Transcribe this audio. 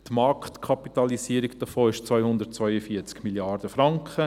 Die Marktkapitalisierung davon beträgt 242 Mrd. Franken;